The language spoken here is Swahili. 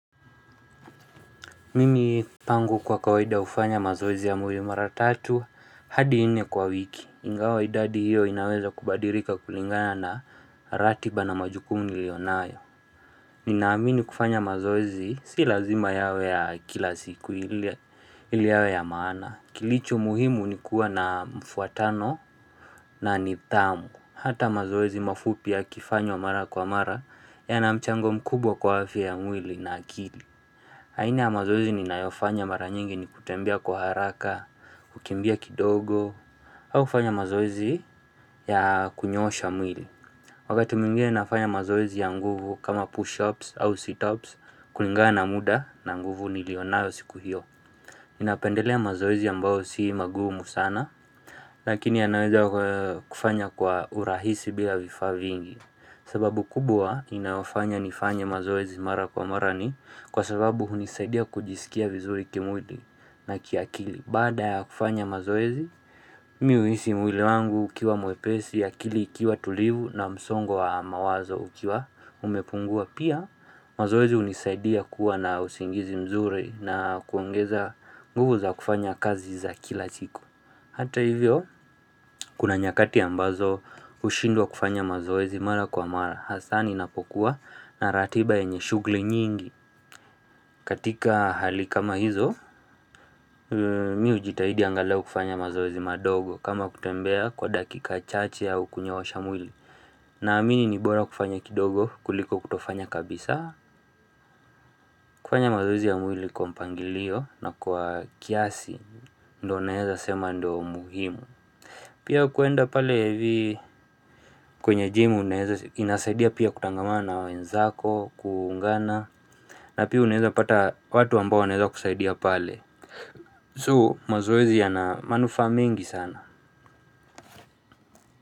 Mimi pangu kwa kwa kawaida hufanya mazoezi wa mwili mara tatu hadi nne kwa wiki ingawa idadi hiyo inaweza kubadilika kulingana na ratiba na majukumu niliyo nayo Ninaamini kufanya mazoezi si lazima yawe ya kila siku ili yawe ya maana kilicho muhimu ni kuwa na mfuatano na ni tamu hata mazoezi mafupi yakifanywa mara kwa mara yana mchango mkubwa kwa afya ya mwili na akili aina ya mazoezi ninayofanya mara nyingi ni kutembea kwa haraka kukimbia kidogo au kufanya mazoezi ya kunyoosha mwili Wakati mwingine nafanya mazoezi ya nguvu kama push-ups au sit-ups, kulingaa na muda na nguvu nilionayo siku hiyo. Napendelea mazoezi ambayo si magumu sana, lakini yanaweza kufanywa kwa urahisi bila vifaa vingi. Sababu kubwa inayofanya nifanye mazoezi mara kwa mara ni kwa sababu hunisaidia kujiskia vizuri kimwili na kiakili. Baada ya kufanya mazoezi mimi huhisi mwili wangu ukiwa mwepesi akili ikiwa tulivu na msongo wa mawazo ukiwa umepungua pia mazoezi hunisaidia kuwa na usingizi mzuri na kuongeza nguvu za kufanya kazi za kila siku Hata hivyo kuna nyakati ambazo hushindwa kufanya mazoezi mara kwa mara hasa ninapokua na ratiba yenye shughuli nyingi. Katika hali kama hizo mi hujitahidi angalau kufanya mazoezi madogo kama kutembea kwa dakika chache au kunyoosha mwili Naamini ni bora kufanya kidogo kuliko kutofanya kabisa kufanya mazoezi ya mwili kwa mpangilio na kwa kiasi ndiyo naeza sema ndiyo imuhimu Pia kuenda pale hivi kwenye jimu inasaidia pia kutangamana na wenzako, kuungana na pia uneza pata watu ambao wanaweza kukusaidia pale so mazoezi yana manufaa mengi sana.